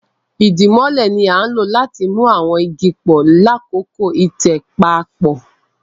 idimole ní a lò láti mú àwọn ìgi pọ lakọkọ itẹ papọ